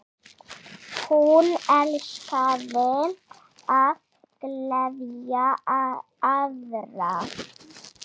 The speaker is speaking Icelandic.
Hún elskaði að gleðja aðra.